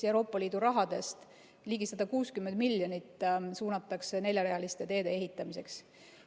Euroopa Liidu rahast muu hulgas ligi 160 miljonit suunatakse neljarealiste teede ehitamiseks.